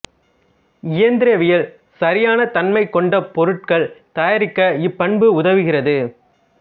இயந்திரவியலில் சரியான தன்மை கொண்ட பொருட்கள் தயாரிக்க இப்பண்பு உதவுகிறது